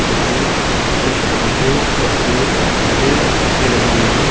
जिसमें कुछ पौधे और पेड़ पौधे और पत्ते लगे हुए हैं।